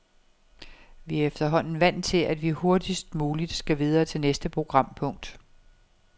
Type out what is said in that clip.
Vi er efterhånden vant til, at vi hurtigst muligt skal videre til næste programpunkt.